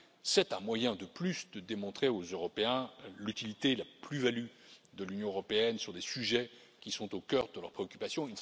C'est un moyen de plus de démontrer aux Européens l'utilité, la plus value de l'Union européenne sur des sujets qui sont au cœur de leurs préoccupations.